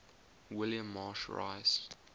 william marsh rice